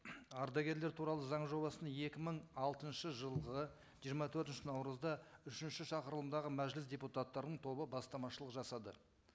ардагерлер туралы заң жобасын екі мың алтыншы жылғы жиырма төртінші наурызда үшінші шақырылымдағы мәжіліс депутаттарының тобы бастамашылық жасады